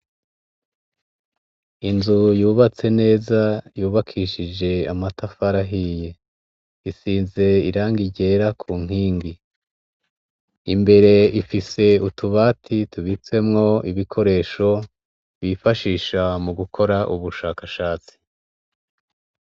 Inzu yubatse neza, yubakishije amatafari ahiye, isize Irangi ryera kunkingi ,Imbere Ifise utubati tubizemwo ibikoresho bifashisha mu gukora ubushakashatsi.